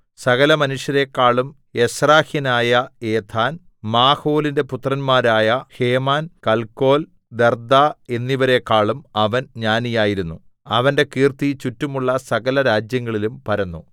സകലമനുഷ്യരെക്കാളും എസ്രാഹ്യനായ ഏഥാന്‍ മാഹോലിന്റെ പുത്രന്മാരായ ഹേമാൻ കൽകോൽ ദർദ്ദ എന്നിവരെക്കാളും അവൻ ജ്ഞാനിയായിരുന്നു അവന്റെ കീർത്തി ചുറ്റുമുള്ള സകലരാജ്യങ്ങളിലും പരന്നു